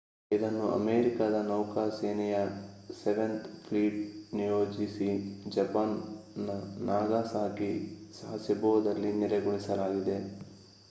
ಇದನ್ನು ಅಮೇರಿಕಾದ ನೌಕಾ ಸೇನೆಯ ಸೆವೆನ್ತ್ ಫ್ಲೀಟ್‍‌ಗೆ ನಿಯೋಜಿಸಿ ಜಪಾನ್‌ನ ನಾಗಾಸಾಕಿಯ ಸಾಸೆಬೋದಲ್ಲಿ ನೆಲೆಗೊಳಿಸಲಾಗಿದೆ